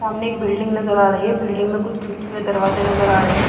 सामने एक बिल्डिंग नजर आ रही है | बिल्डिंग में कुछ खिड़की व दरवाजा नजर आ रहे हैं |